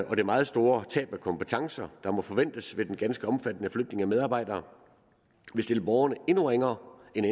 og det meget store tab af kompetencer der må forventes ved den ganske omfattende flytning af medarbejdere vil stille borgerne endnu ringere end